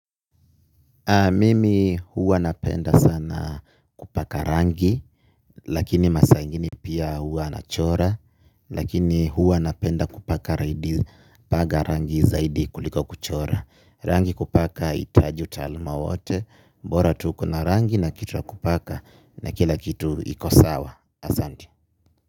Mimi huwa napenda sana kupaka rangi lakini masaa ingine pia huwa nachora lakini huwa napenda kupaka raidi paga rangi zaidi kuliko kuchora. Rangi kupaka haitaji utaluma wote mbora tu ukona rangi na kitu ya kupaka na kila kitu ikosawa. Asante.